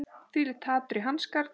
Þvílíkt hatur í hans garð